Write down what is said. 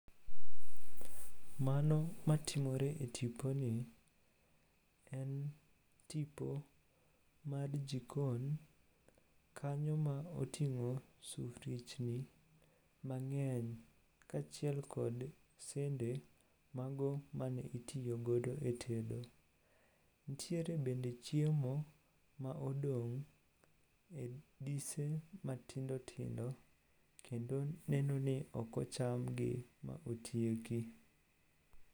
Mano matimore e tiponi en tipo mar jikon kanyo ma oting'o sufriechni mang'eny kaachiel kod sende mago mane itiyogodo e tedo. Ntiere bende chiemo ma odong' e dise matindotindo kendo nenoni okochamgi ma otieki